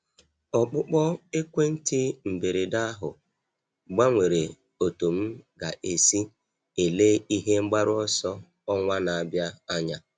Ọkpụkpọ ekwentị mberede ahụ gbanwere otú m ga-esi ele ihe mgbaru ọsọ ọnwa na-abịa anya.